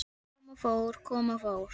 Ég kom og fór, kom og fór.